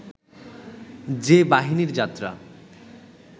যে বাহিনীর যাত্রা